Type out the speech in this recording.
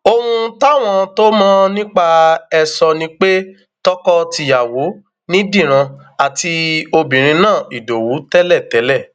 ohun táwọn tó mọ nípa ẹ sọ ni pé tọkọtìyàwó ni díran àti obìnrin náà ìdowu tẹlẹtẹlẹ